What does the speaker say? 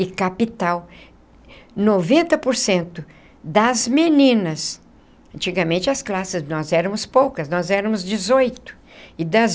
e capital, noventa por cento das meninas, antigamente as classes, nós éramos poucas, nós éramos dezoito, e das